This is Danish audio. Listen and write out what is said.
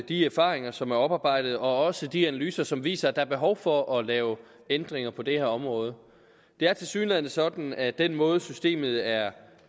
de erfaringer som er oparbejdet og også de analyser som viser at der er behov for at lave ændringer på det her område det er tilsyneladende sådan at den måde systemet er